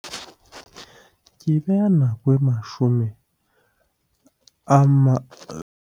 Ke beha nako e mashome a .